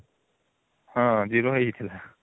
ହଁ zero ହେଇଯାଇଥିଲା